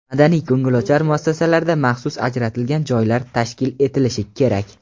madaniy-ko‘ngilochar muassasalarda maxsus ajratilgan joylar tashkil etilishi kerak.